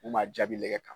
U ma jaabi lɛ kan